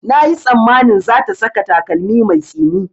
Na yi tsammanin za ta saka takalmi mai tsini